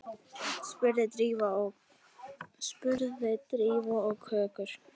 spurði Drífa og kökkur